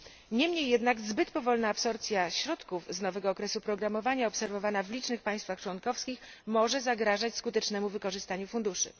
Niemniej jednak zbyt powolna absorpcja środków z nowego okresu programowania, obserwowana w licznych państwach członkowskich, może zagrażać skutecznemu wykorzystaniu funduszy.